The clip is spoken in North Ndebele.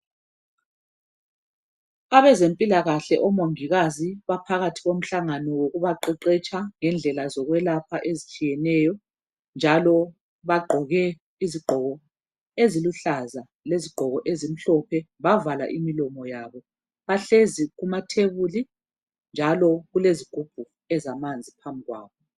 Abezempilakahle omongikazi baphakathi komhlangano wokubaqeqetsha ngendlela zokwelapha ezitshiyeneyo njalo bagqoke izigqoko eziluhlaza lezigqoko ezimhlophe bavala imlomo yabo bahlezi ematafuleni njalo kulezigubhu ezamanzi phambi kwabo.